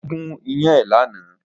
Ó gún iyán ẹ̀ lánàá